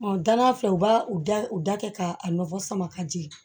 danna fɛ u b'a u da u da kɛ k'a nɔgɔ sama ka jigin